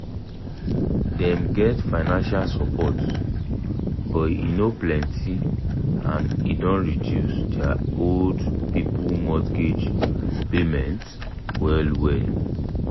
dem get financial support but e no plenty and e don reduce their old people mortgage payments well well.